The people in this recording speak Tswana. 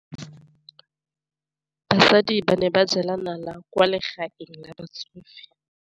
Basadi ba ne ba jela nala kwaa legaeng la batsofe.